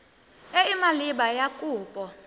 e e maleba ya kopo